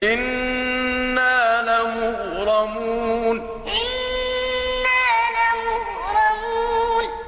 إِنَّا لَمُغْرَمُونَ إِنَّا لَمُغْرَمُونَ